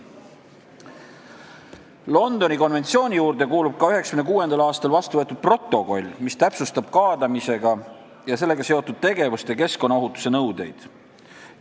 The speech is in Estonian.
Londoni konventsiooni juurde kuulub ka 1996. aastal vastu võetud protokoll, mis täpsustab kaadamise ja sellega seotud tegevuste keskkonnaohutuse nõudeid.